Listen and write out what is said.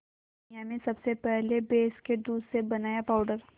दुनिया में सबसे पहले भैंस के दूध से बनाया पावडर